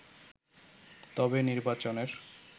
তবে নির্বাচনের